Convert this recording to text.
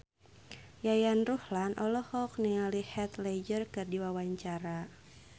Yayan Ruhlan olohok ningali Heath Ledger keur diwawancara